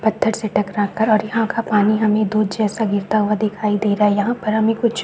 पत्थर से टकरा कर और यहाँ का पानी हमे दुध जैसा गिरता हुआ दिखाई दे रहा है यहाँ पर हमे कुछ--